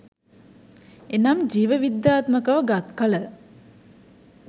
එනම් ජීව විද්‍යාත්මක ව ගත් කළ